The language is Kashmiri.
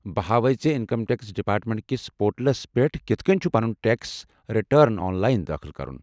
بہٕ ہاوے ژےٚ زِ انکم ٹیکس ڈیپارٹمنٹ کِس پورٹلس پیٹھ کِتھہٕ کٔنۍ چُھ پنُن ٹیکس ریٹرن آن لاین دٲخٕل کرُن۔